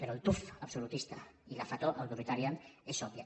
però el tuf absolutista i la fetor autoritària és òbvia